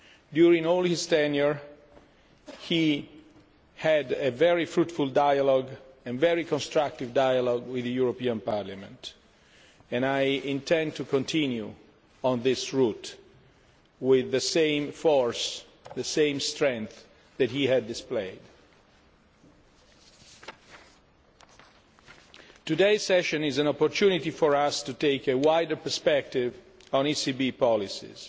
During all his tenure he had a very fruitful and very constructive dialogue with the European Parliament and I intend to continue on this route with the same force, the same strength that he displayed. Today's session is an opportunity for us to take a wider perspective on ECB policies.